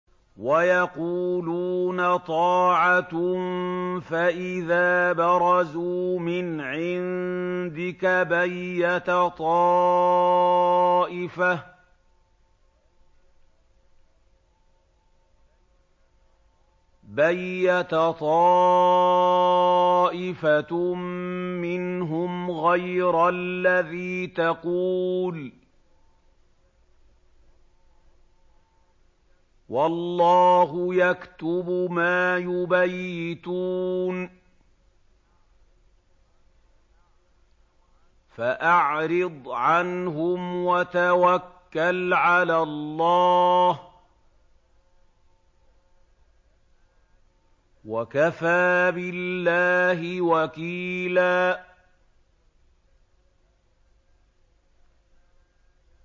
وَيَقُولُونَ طَاعَةٌ فَإِذَا بَرَزُوا مِنْ عِندِكَ بَيَّتَ طَائِفَةٌ مِّنْهُمْ غَيْرَ الَّذِي تَقُولُ ۖ وَاللَّهُ يَكْتُبُ مَا يُبَيِّتُونَ ۖ فَأَعْرِضْ عَنْهُمْ وَتَوَكَّلْ عَلَى اللَّهِ ۚ وَكَفَىٰ بِاللَّهِ وَكِيلًا